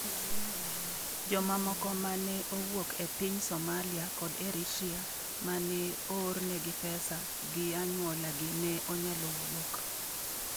Jomamoko ma ne owuok e piny Somalia kod Eritrea ma ne oornegi pesa gi anyuola gi ne onyalo wuok